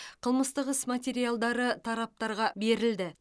қылмыстық іс материалдары тараптарға берілді